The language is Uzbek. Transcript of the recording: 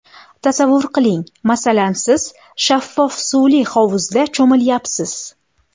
Tasavvur qiling, masalan siz shaffof suvli hovuzda cho‘milayapsiz.